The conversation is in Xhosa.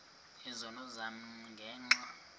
izono zam ngenxa